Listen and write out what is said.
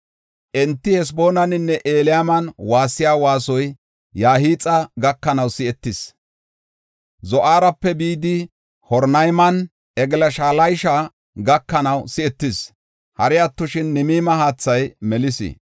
Enti Haseboonaninne Eliyaalan waassiya waasoy Yahaaxa gakanaw si7etees. Zo7aarape bidi Horonaymanne Eglaat-Shalisha gakanaw si7etees. Hari attoshin, Nimirima haathay melis.